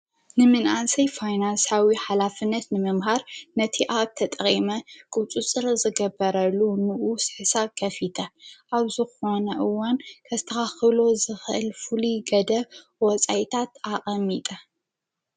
ንምንኣንሰይ ፋይናንሳዊ ኃላፍነት ንምምሃር ነቲ ኣብ ተጠቐመ ቊፁጽር ዘገበረሉ ኖኡ ስሕሳ ከፊተ ኣብዙኾነእወን ከተራኽሎ ዘኽእልፉል ገደ ወፃይታት ኣቐሚጠ::